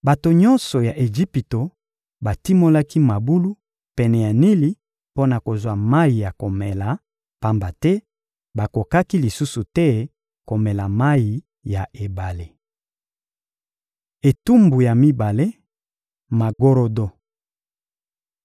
Bato nyonso ya Ejipito batimolaki mabulu pene ya Nili mpo na kozwa mayi ya komela, pamba te bakokaki lisusu te komela mayi ya ebale. Etumbu ya mibale: magorodo